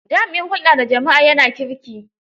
Jami'in hulɗa da jama'a ya na kirki.